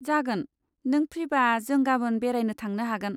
जागोन, नों फ्रिबा जों गाबोन बेरायनो थांनो हागोन।